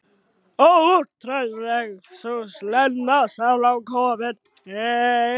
Óútreiknanleg sú Lena sem nú er komin heim.